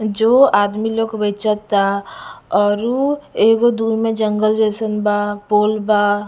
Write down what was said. जो आदमी लोग के बेचता एगो दु गो में जंगल जइसान बा पोल बा--